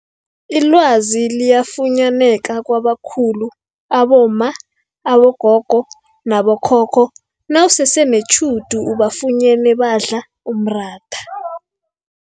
Ilwazi liyafunyaneka kwabakhulu abomma, abogogo nabo khokho nawusese netjhudu ubafunyene badla umratha.